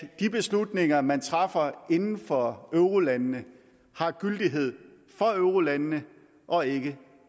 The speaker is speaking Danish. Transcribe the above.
at de beslutninger man træffer inden for eurolandene har gyldighed for eurolandene og ikke